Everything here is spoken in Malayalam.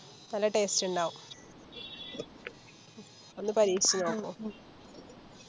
നല്ല Taste ഇണ്ടാവും ഒന്ന് പരീക്ഷിച്ച് നോക്കു